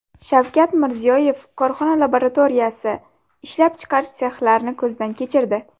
Shavkat Mirziyoyev korxona laboratoriyasi, ishlab chiqarish sexlarini ko‘zdan kechirdi.